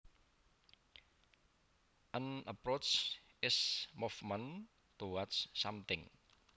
An approach is movement towards something